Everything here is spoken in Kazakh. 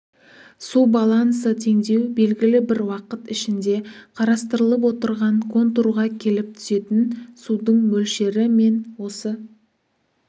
су балансы теңдеу белгілі бір уақыт ішінде қарастырылып отырған контурға келіп түсетін судың мөлшері мен осы